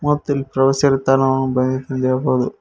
ಮತ್ತು ಇಲ್ಲಿ ಪ್ರವಾಸಿಗರ ತಾಣ ಎಂದು ತಿಳಿಯಬಹುದು.